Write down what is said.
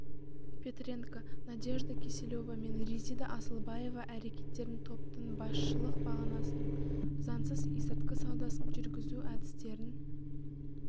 петренко надежда киселева мен резида асылбаева әрекеттерін топтың басшылық бағанасын заңсыз есірткі саудасын жүргізу әдістерін